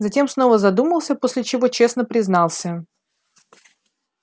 затем снова задумался после чего честно признался